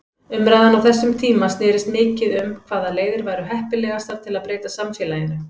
Umræðan á þessum tíma snerist mikið um hvaða leiðir væru heppilegastar til að breyta samfélaginu.